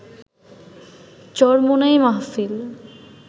চরমোনাই মাহফিল